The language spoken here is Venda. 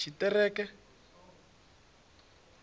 tshiṱereke